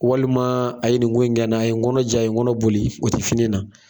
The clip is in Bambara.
Walima a ye nin ko in kɛ n na a ye n kɔnɔ ja n kɔnɔ boli o tɛ fini na.